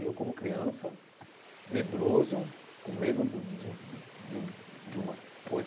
Eu como criança, medroso, com medo do de de de uma coisa